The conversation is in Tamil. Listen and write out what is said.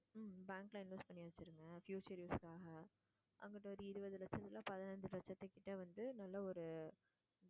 bank ல invest பண்ணி வச்சுருங்க future use க்காக அப்பறம் இருபது லட்சத்துல பதினைஞ்சு லட்சத்து கிட்ட வந்து நல்ல ஒரு